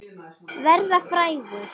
Verða frægur?